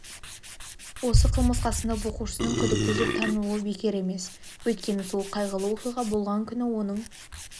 осы қылмысқа сынып оқушысының күдікті деп танылуы бекер емес өйткені сол қайғылы оқиға болған күні оның